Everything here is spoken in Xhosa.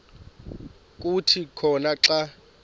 kuthi khona xa